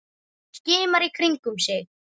Skimar í kringum sig.